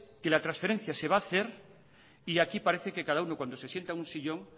que la transferencia se va a hacer y aquí parece que cada uno cuando se sienta en un sillón